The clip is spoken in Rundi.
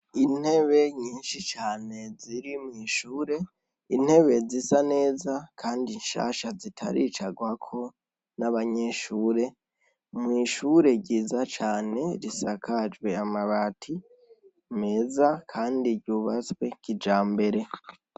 Intebe nyinshi cane ziri mwishure intebe zisa neza kandi nshasha zitaricagwako n' abanyeshure mwishure ryiza cane risakajwe amabati meza kandi ryubatswe kijambere.